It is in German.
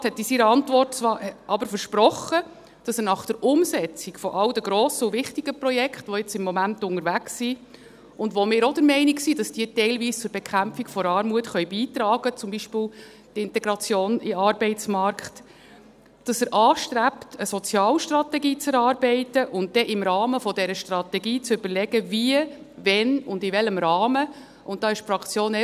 Der Regierungsrat hat in seiner Antwort aber versprochen, dass er nach der Umsetzung all der grossen und wichtigen Projekte, die jetzt im Moment unterwegs sind, und bei denen wir auch der Meinung sind, dass diese teilweise zur Bekämpfung der Armut beitragen können, zum Beispiel die Integration in den Arbeitsmarkt, anstrebt, eine Sozialstrategie zu erarbeiten und dann im Rahmen dieser Strategie zu überlegen, wie, wann und in welchem Rahmen, einen neuen Sozialbericht zu erarbeiten;